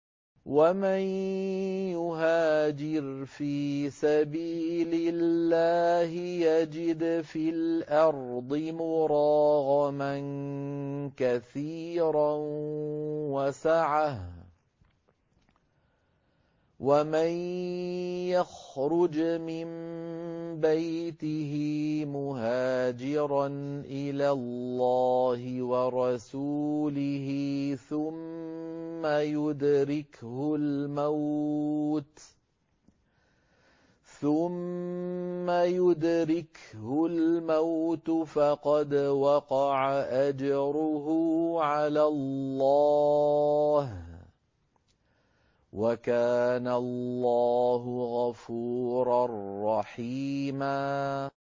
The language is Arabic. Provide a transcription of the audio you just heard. ۞ وَمَن يُهَاجِرْ فِي سَبِيلِ اللَّهِ يَجِدْ فِي الْأَرْضِ مُرَاغَمًا كَثِيرًا وَسَعَةً ۚ وَمَن يَخْرُجْ مِن بَيْتِهِ مُهَاجِرًا إِلَى اللَّهِ وَرَسُولِهِ ثُمَّ يُدْرِكْهُ الْمَوْتُ فَقَدْ وَقَعَ أَجْرُهُ عَلَى اللَّهِ ۗ وَكَانَ اللَّهُ غَفُورًا رَّحِيمًا